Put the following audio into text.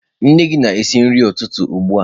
Nne gị na-esi nri ụtụtụ ugbu a.